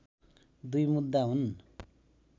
दुई मुद्दा हुन्